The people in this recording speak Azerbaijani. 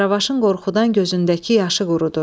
Qaravaşın qorxudan gözündəki yaşı qurudu.